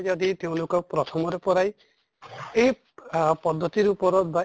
যদি তেওঁলোকক প্ৰথমৰ পৰাই এই আহ প্দ্ধ্তিৰ ওপৰত বা